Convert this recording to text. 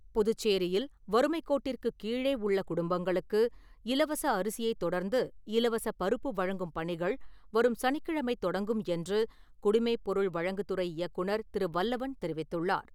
புதுச்சேரியில் வறுமைக் கோட்டிற்கு கீழே உள்ள குடும்பங்களுக்கு, இலவச அரிசியை தொடர்ந்து இலவச பருப்பு வழங்கும் பணிகள் வரும் சனிக்கிழமை தொடங்கும் என்று குடிமைப் பொருள் வழங்குதுறை இயக்குநர் திரு. வல்லவன் தெரிவித்துள்ளார்.